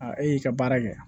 e y'i ka baara kɛ